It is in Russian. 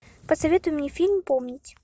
посоветуй мне фильм помнить